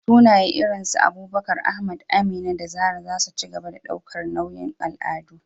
Sunaye irin su Abubakar, Ahmad, Amina, da Zarah za su ci gaba da ɗaukar nauyin al'adu.